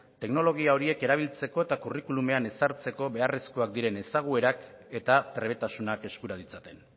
teknologia horiek erabiltzeko eta curriculumean ezartzeko beharrezkoak diren ezaguerak eta trebetasunak eskura ditzaten